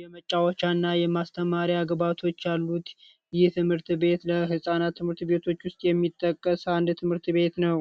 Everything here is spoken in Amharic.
የመጫወቻ እና የማስተማሪያ ግብዓቶች ያሉት ይህ የትምህርት ቤት ከህፃናት ትምህርት ቤቶች ውስጥ የሚጠቀስ አንድ ትምህርት ቤት ነው።